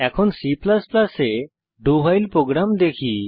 এখন C এ do while program দেখি